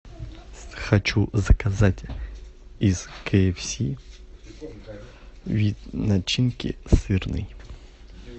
хочу заказать из кфс вид начинки сырный